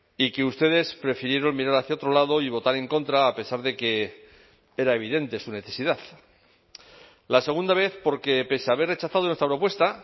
y que ustedes prefirieron mirar hacia otro lado y votar en contra a pesar de que era evidente su necesidad la segunda vez porque pese a haber rechazado nuestra propuesta